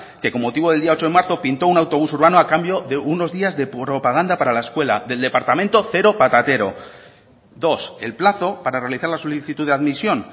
que con motivo del día ocho de marzo pintó un autobús urbano a cambio de unos días de propaganda para la escuela del departamento cero patatero dos el plazo para realizar la solicitud de admisión